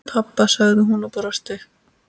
Pabba? sagði hún og brosti.